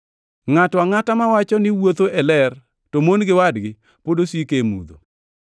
Ngʼato angʼata mawacho niwuotho e ler to mon gi wadgi pod osiko e mudho.